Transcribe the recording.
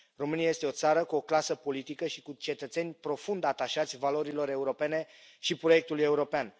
România este o țară cu o clasă politică și cu cetățeni profund atașați valorilor europene și proiectului european.